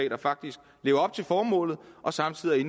der faktisk lever op til formålet og samtidig er